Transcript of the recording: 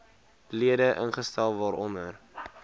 lede ingestel waaronder